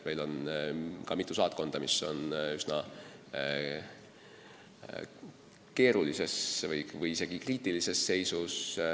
Meil on mitu saatkonda, mis on üsna keerulises või isegi kriitilises seisus.